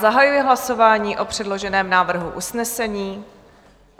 Zahajuji hlasování o předloženém návrhu usnesení.